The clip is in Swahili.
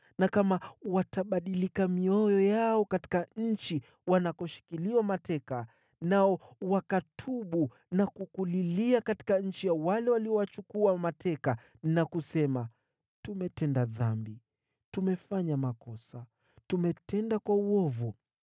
na kama watabadilika mioyo yao katika nchi wanakoshikiliwa mateka, nao wakatubu na kukulilia katika nchi ya utumwa na kusema, ‘Tumetenda dhambi, tumefanya makosa na tumetenda uovu’;